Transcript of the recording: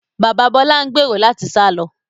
Bàbá Bọlá ń gbèrò láti sá lọ